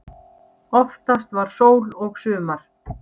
Oftast var sól og sumar.